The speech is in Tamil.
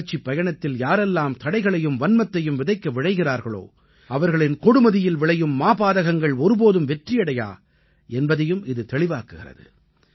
வளர்ச்சிப் பயணத்தில் யாரெல்லாம் தடைகளையும் வன்மத்தையும் விதைக்க விழைகிறார்களோ அவர்களின் கொடுமதியில் விளையும் மாபாதகங்கள் ஒருபோதும் வெற்றியடையா என்பதையும் இது தெளிவாக்குகிறது